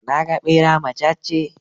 Na ga ɓera macacce.